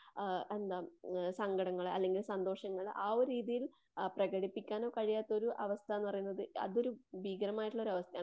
ആ എന്താ സങ്കടങ്ങള് അല്ലങ്കിൽ സന്തോഷങ്ങള് ആ ഒരു രീതീയിൽ ആ പ്രകടിപ്പിക്കാനോ കഴിയാത്ത ഒരു അവസ്ഥന്ന് പറയുന്നത് അതൊരു ഭീകരമായിട്ടുള്ളൊരാവസ്ഥയാണ്.